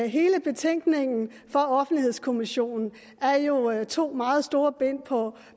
hele betænkningen fra offentlighedskommissionen er jo to meget store bind på